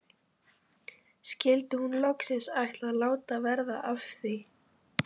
Skyldi hún loksins ætla að láta verða af því?